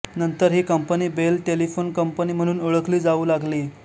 नंतर ही company Bell telephone company म्हणून ओळखली जावू लागली